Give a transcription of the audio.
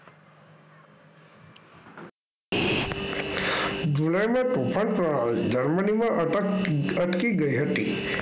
Germany માં અટકી ગઈ હતી.